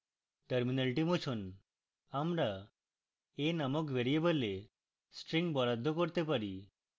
terminal মুছুন